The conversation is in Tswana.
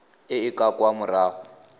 e e ka kwa morago